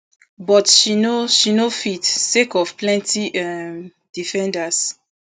but she no she no fit sake of plenti um defenders